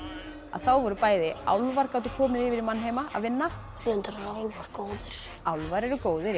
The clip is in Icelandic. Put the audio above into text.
voru bæði álfar komnir yfir í mannheima að vinna reyndar eru álfar góðir álfar eru góðir